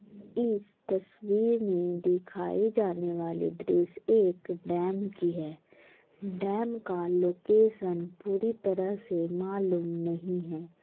इस तसवीर मे दिखाई जाने वाली दृस्य एक डैम की है डैम का लोकैशन पूरी तरह से मालूम नहीं है ।